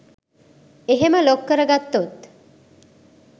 එහෙම ලොක් කරගත්තොත්